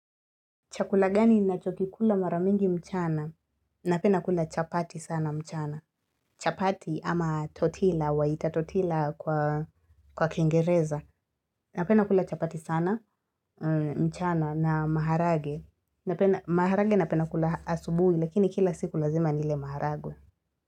Chakula gani ninachokikula maramingi mchana? Napenda kula chapati sana mchana. Chapati ama totila waita totila kwa kingereza. Napenda kula chapati sana mchana na maharage. Maharage napenda kula asubuhi lakini kila siku lazima nile maharagwe.